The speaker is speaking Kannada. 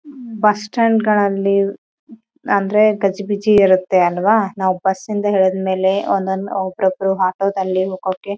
ಈ ಪ್ಲೀಸ್ ಯಾವುದೋ ಮೇಬಿ ಎಂಟ್ರೆನ್ಸ್ ಅನ್ಕೋತೀನಿ ಅಲ್ಲೊಂದು ಬಿಲ್ಡಿಂಗ್ ಕಟ್ಟಕತ್ತಾರ.